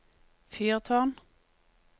fyrtårn